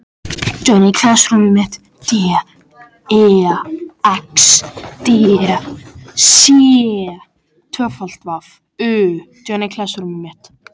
Þess vegna höfðu þau aldrei fengið jólagjafir.